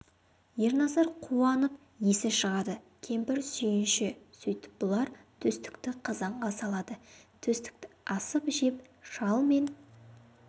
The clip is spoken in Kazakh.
ерназар қуанып есі шығады кемпір сүйінші сөйтіп бұлар төстікті қазанға салады төстікті асып жеп шал мен